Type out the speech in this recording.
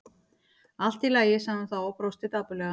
Allt í lagi- sagði hún þá og brosti dapurlega.